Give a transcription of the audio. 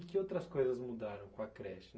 E que outras coisas mudaram com a creche?